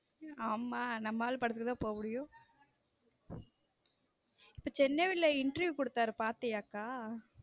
ஆமா நம்ம ஆளு படத்துக்கு தான் போக முடியும இப்போ சென்னையில interview கொடுத்தார் பாத்தியா அக்கா.